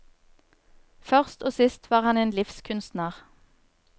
Først og sist var han en livskunstner.